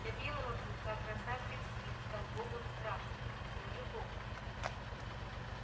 для белого клыка красавчик смит стал богом страшным но всё же богом